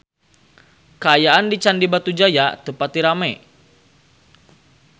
Kaayaan di Candi Batujaya teu pati rame